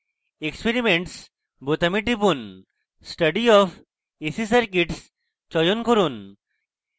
experiments বোতামে টিপুন study of ac circuits চয়ন করুন